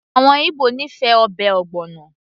àwọn Igbo nífẹ̀ẹ́ ọbẹ̀ ogbono